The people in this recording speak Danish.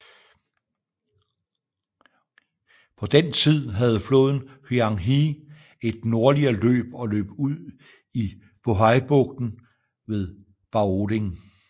På den tid havde floden Huang He et nordligere løb og løb ud i Bohaibugten ved Baoding